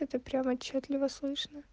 это прям отчётливо слышно